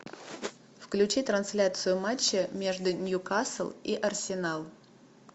включи трансляцию матча между ньюкасл и арсенал